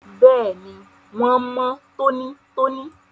Bẹ́ẹ̀ni, wón mọ́ tónítóní